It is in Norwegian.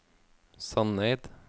Sandeid